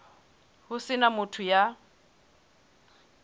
ho se na motho ya